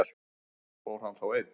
Fór hann þá einn?